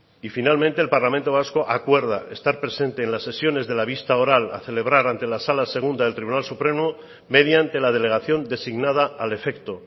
y finalmente el parlamento vasco acuerda estar presente en las sesiones de la vista oral a celebrar ante la sala segunda del tribunal supremo mediante la delegación designada al efecto